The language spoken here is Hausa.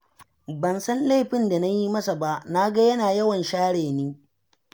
Ba san laifin da na yi masa ba, na ga yana yawan share ni